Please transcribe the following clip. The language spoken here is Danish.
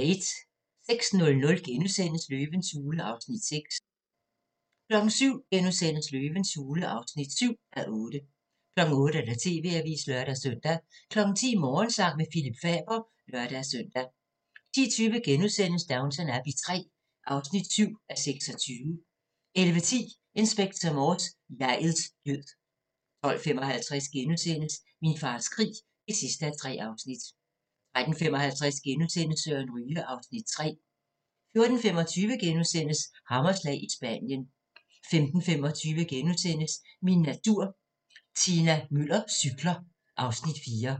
06:00: Løvens hule (6:8)* 07:00: Løvens hule (7:8)* 08:00: TV-avisen (lør-søn) 10:00: Morgensang med Phillip Faber (lør-søn) 10:20: Downton Abbey III (7:28)* 11:10: Inspector Morse: Jeg'ets død 12:55: Min fars krig (3:3)* 13:55: Søren Ryge (Afs. 3)* 14:25: Hammerslag – i Spanien * 15:25: Min natur - Tina Müller cykler (Afs. 4)*